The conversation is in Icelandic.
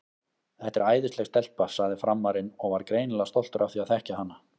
Þetta er æðisleg stelpa, sagði Frammarinn og var greinilega stoltur af því að þekkja hana.